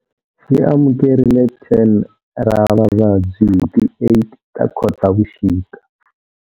Xi amukerile 10 ra vavabyi hi ti 8 ta Khotavuxika.